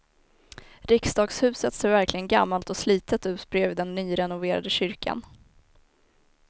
Riksdagshuset ser verkligen gammalt och slitet ut bredvid den nyrenoverade kyrkan.